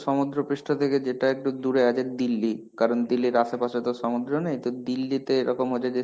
সমুদ্রপৃষ্ঠ থেকে যেটা একটু দুরে আছে দিল্লি. কারণ দিল্লির আশেপাশে তো সমুদ্র নেই, তো দিল্লিতে এইরকম হয় যদি